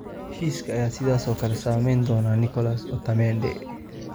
Heshiiska ayaa sidoo kale saameyn doona Nicolas Otamendi.